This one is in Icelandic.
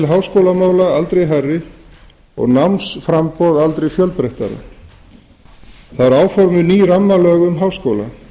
háskólamála hafa aldrei verið hærri og námsframboðið aldrei fjölbreyttara áformuð eru ný rammalög um háskóla